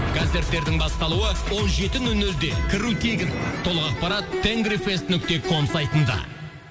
концерттердің басталуы он жеті нөл нөлде кіру тегін толық ақпарат нүкте ком сайтында